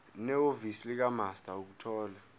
nehhovisi likamaster ukuthola